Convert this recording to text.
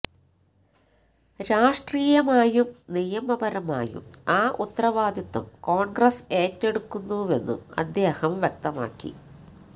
രാഷ്ട്രീയമായും നിയമപരമായും ആ ഉത്തരവാദിത്വം കോൺഗ്രസ് ഏറ്റെടുക്കുന്നുവെന്നും അദ്ദേഹം വ്യക്തമാക്കി